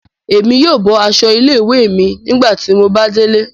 Èmi yóò bọ aṣọ ilé-ìwé mi nígbàtí mo bà dé ilé